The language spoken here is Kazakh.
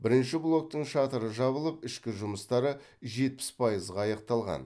бірінші блоктың шатыры жабылып ішкі жұмыстары жетпіс пайызға аяқталған